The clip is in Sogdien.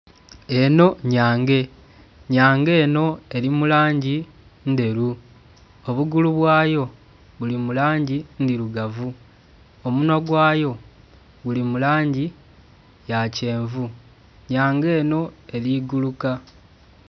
Eno nyhange nyhange enho eri mu langi ndheru obugulu bwayo buli mu langi ndhirugavu, omunhwa gwayo guli mu langi ya kyenvu nyhange eno eri guluka.